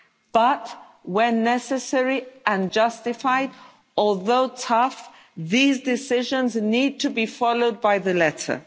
But when necessary and justified, although tough these decisions need to be followed to the letter.